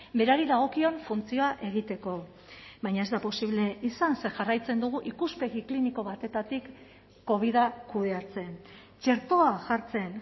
berari dagokion funtzioa egiteko baina ez da posible izan ze jarraitzen dugu ikuspegi kliniko batetik covida kudeatzen txertoa jartzen